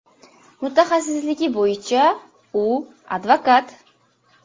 Mutaxassisligi bo‘yicha u advokat.